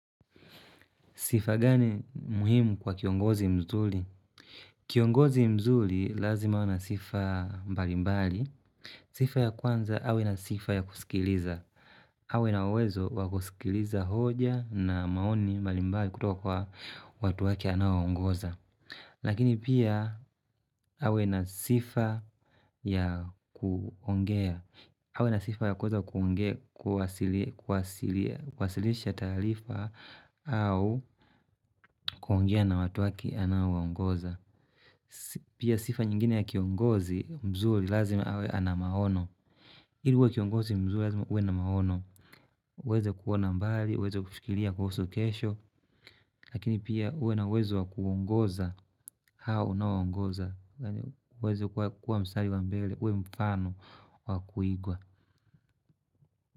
Sifa gani muhimu kwa kiongozi mzuri? Kiongozi mzuri lazima anasifa mbali mbali. Sifa ya kwanza awe na sifa ya kusikiliza. Awe na uwezo wakusikiliza hoja na maoni mbali mbali kutoka kwa watu wake anaowaongoza. Lakini pia awe na sifa ya kuongea. Awe na sifa ya kuweza kuongea kuwasilisha taarifa au kuongea na watu wake anaowaongoza. Pia sifa nyingine ya kiongozi mzuri lazima awe ana maono. Ili uwe kiongozi mzuri lazima uwe na maono. Uweze kuona mbali, uweze kufikiria kuhusu kesho. Lakini pia uwe na uwezo wa kuongoza hao unaowaongoza. Uweze kuwa mstari wa mbele, uwe mfano wa kuigwa.